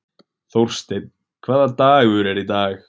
Þórsteinn, hvaða dagur er í dag?